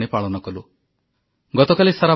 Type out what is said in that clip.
ବିଗତ ଦିନମାନଙ୍କରେ ଆମେ ଅନେକ ପର୍ବପର୍ବାଣି ପାଳନ କଲୁ